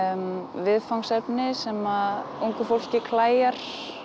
viðfangsefni sem að ungu fólki klæjar